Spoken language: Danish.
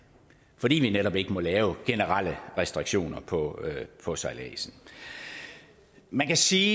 fordi vi netop ikke må lave generelle restriktioner på på sejladsen man kan sige